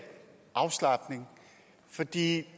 når de